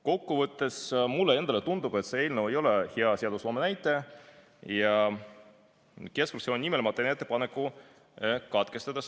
Kokku võttes, mulle endale tundub, et see eelnõu ei ole hea seadusloome näide ja keskfraktsiooni nimel ma teen ettepaneku teine lugemine katkestada.